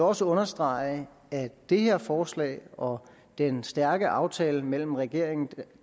også understrege at det her forslag og den stærke aftale mellem regeringen